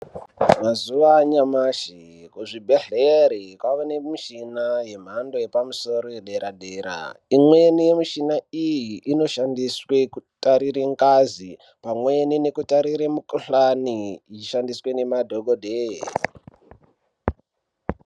Mazuva anyamashi muzvibhedhlera kwaava nemushina yembando yepamusoro yepadera dera imweni yemuchina iyi inoshandiswa kutarire ngazi pamweni nekutarire mukuhlani yeishandiswa nema dhokodheya.